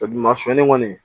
sɔnni kɔni